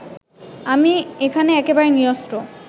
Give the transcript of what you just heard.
আমি এখানে একেবারে নিরস্ত্র